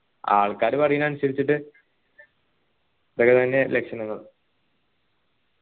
ആൾക്കാർ പറീന്നെ അനുസരിച്ചിട്ട് ലക്ഷണങ്ങൾ